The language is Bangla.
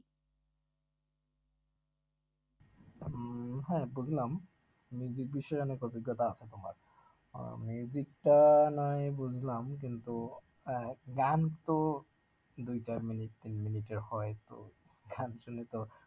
উম হ্যাঁ বুঝলাম, বিষয়ে অনেক অভিজ্ঞতা আছে তোমার আহ টা নয় হয় বুঝলাম কিন্তু আহ গান তো দুই চার মিনিট তিন মিনিটের হয় তো, গান শুনে তো